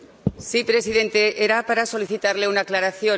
Señor presidente, era para solicitarle una aclaración.